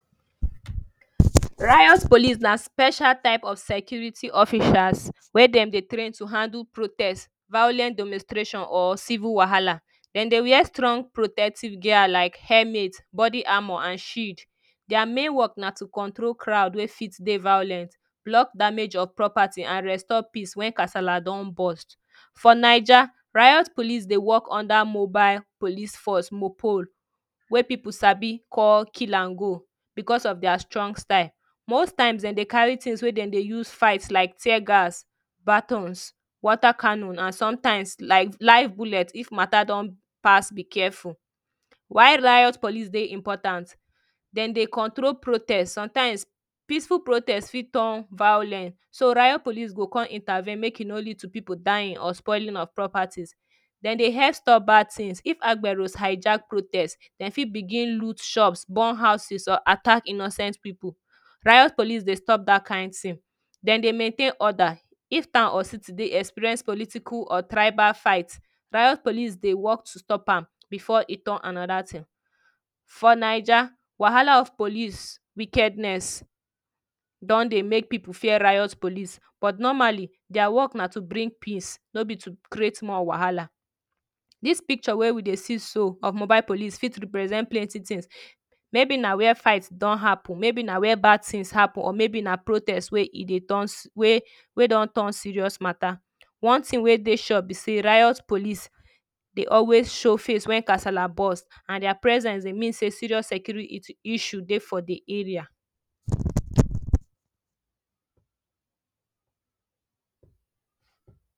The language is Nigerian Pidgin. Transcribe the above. Riot Police na special type of security officers wey Dem dey train to handle protest, violent demonstration or civil wahala Dem dey wear strong protective gear like helmet body armour and shield. Their main work na to control crowd wey fit dey violent block damage of properties and restore peace when casala don burst. For naija, riot police dey work under mobile police force (MOPOL) wey people sabi call kill and go because of their strong style. Most times Dem dey carry things wey Dem dey use fight like tear gas batons water canon, and sometimes live bullet like sometimes if matter don pass be-careful. Why riot police dey important: Dem dey control protest sometimes peaceful protest fit turn violent so riot police go come intervene make e no lead to people dying or spoiling of properties. Dem dey help stop bad things. If agbero hijack protest, Dem fit begin loot shops burn houses or attack innocent people, riot police dey stop that kind thing. Dem dey maintain order if town or city dey experience political or tribal fight, riot police dey work to stop am before e turn another thing For Naija, wahala of police wickedness don dey make people fear riot police but normally their work na to bring peace, no be to create more wahala This picture wey we dey see so of mobile police for represent plenty things; maybe na where fight don happen, maybe na where bad things happen, maybe na protest wey e dey turn, wey wey don turn serious matter. One thing wey dey sure be sey riot police dey always show face when casala burst and their presence dey mean say serious security issues dey for the area